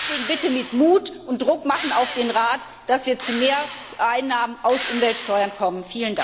Deswegen Bitte mit Mut vorgehen und Druck machen auf den Rat, dass wir zu mehr Einnahmen aus Umweltsteuern kommen.